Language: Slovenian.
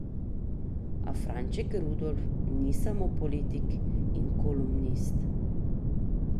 A Franček Rudolf ni samo politik in kolumnist.